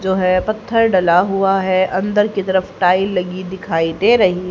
जो है पत्थर डला हुआ है अंदर की तरफ टाइल लगी दिखाई दे रही--